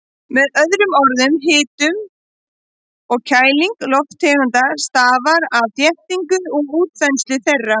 Með öðrum orðum, hitun og kæling lofttegunda stafar af þéttingu og útþenslu þeirra.